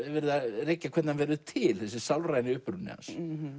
verið að rekja hvernig hann verður til þessi sálræni uppruni hans